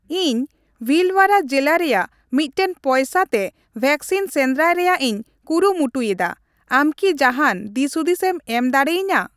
ᱤᱧ ᱵᱷᱤᱞᱣᱟᱨᱟ ᱡᱤᱞᱟ ᱨᱮᱭᱟᱜ ᱢᱤᱫᱴᱮᱱ ᱯᱚᱭᱥᱟ ᱛᱮ ᱵᱷᱮᱠᱥᱤᱱ ᱥᱮᱸᱫᱨᱟᱭ ᱨᱮᱭᱟᱜ ᱤᱧ ᱠᱩᱨᱩᱢᱩᱴᱩᱭ ᱮᱫᱟ, ᱟᱢ ᱠᱤ ᱡᱟᱦᱟᱱ ᱫᱤᱥᱦᱩᱫᱤᱥ ᱮᱢ ᱮᱢ ᱫᱟᱲᱤᱭᱟᱹᱧᱟ ?